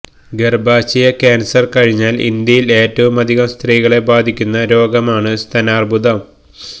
ഗര്ഭാശയ cancer കഴിഞ്ഞാല് ഇന്ത്യയില് ഏറ്റവും അധികം സ്ത്രീകളെ ബാധിയ്ക്കുന്ന രോഗമാണ് സ്താനാര്ബുദം